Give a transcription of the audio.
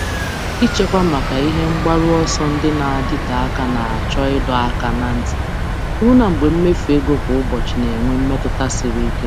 Ịchekwa maka ebumnuche ogologo oge chọrọ ịdọ aka ná ntị, ọbụlagodi mgbe mmefu kwa ụbọchị na-adị ka ihe karịrị ike.